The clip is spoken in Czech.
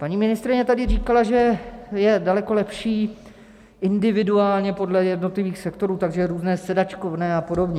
Paní ministryně tady říkala, že je daleko lepší individuálně podle jednotlivých sektorů, takže různé sedačkovné a podobně.